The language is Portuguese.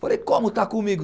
Falei, como está comigo?